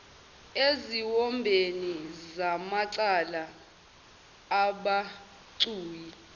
eziwombeni zamacala abucayi